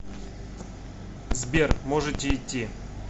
сбер можете идти